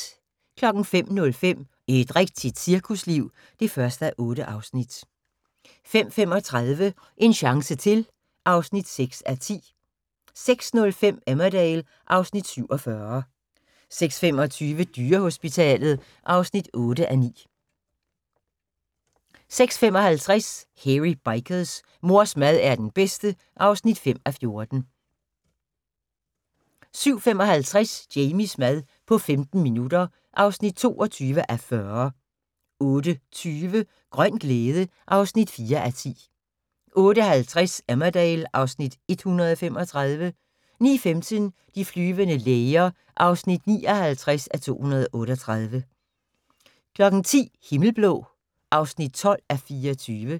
05:05: Et rigtigt cirkusliv (1:8) 05:35: En chance til (6:10) 06:05: Emmerdale (Afs. 47) 06:25: Dyrehospitalet (8:9) 06:55: Hairy Bikers: Mors mad er den bedste (5:14) 07:55: Jamies mad på 15 minutter (22:40) 08:20: Grøn glæde (4:10) 08:50: Emmerdale (Afs. 135) 09:15: De flyvende læger (59:238) 10:00: Himmelblå (12:24)